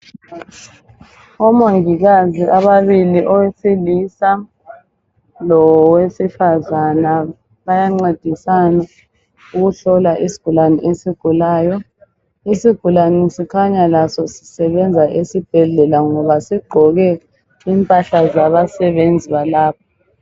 Omongikazi ababili owesilisa lowesifazana bayancedisana ukuhlola isigulane esigulayo. Isigulane sikhanya laso sisebenza esibhedlela ngoba sigqoke impahla zabasebenzi balapha.